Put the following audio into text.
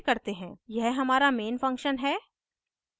यह हमारा main function है